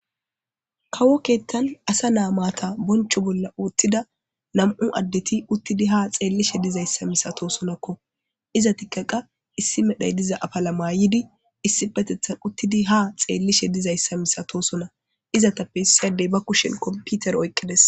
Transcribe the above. Kawo keettan asa naa maata boncho bolla wottida nam7u addeti uttidi ha xeellishe dizayssa misatosonakko. Iza tikkaqa issi medhay diza afala mayidi issipetethan uttidi ha xeellishe dizayssa misatoosona. Izatappe issi addey ba kushen kompitere oyqqides.